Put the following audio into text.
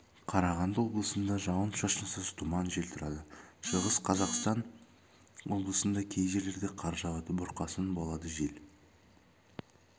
қарағанды облысында жауын-шашынсыз тұман жел тұрады шығыс қазақстан облысында кей жерлерде қар жауады бұрқасын болады жел